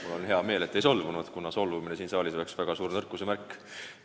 Mul on hea meel, et te ei solvunud, kuna solvumine siin saalis oleks väga suur nõrkuse märk.